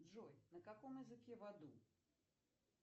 джой на каком языке в аду